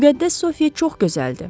Müqəddəs Sofiya çox gözəldir.